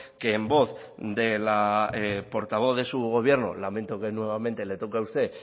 que en voz de la portavoz de su gobierno lamento que nuevamente le toque a usted